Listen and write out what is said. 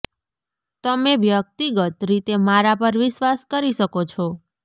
તમે વ્યક્તિગત રીતે મારા પર વિશ્વાસ કરી શકો છો